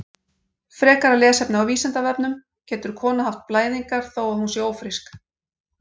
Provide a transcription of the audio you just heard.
Frekara lesefni á Vísindavefnum: Getur kona haft blæðingar þó að hún sé ófrísk?